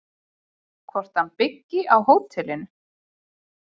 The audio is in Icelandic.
Hvort hann byggi á hótelinu?